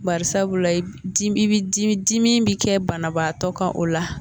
Barisabula i bi dimi dimi bɛ kɛ banabaatɔ kan o la.